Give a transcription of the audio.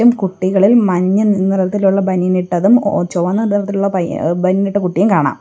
ഈ കുട്ടികളിൽ മഞ്ഞനിറത്തിലുള്ള ബനിയൻ ഇട്ടതും ഒ ചൊവന്ന നിറത്തിലുള്ള പയ്യ ബനിയൻ ഇട്ട കുട്ടിയെയും കാണാം.